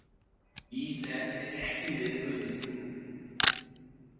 Ísland er ekki með á listanum